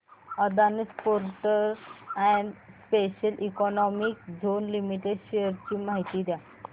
Adani ports and special economic zone limited shares ची माहिती द्या